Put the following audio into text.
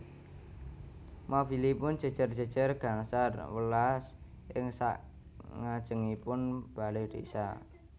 Mobilipun jejer jejer gangsal welas ing sak ngajengipun bale desa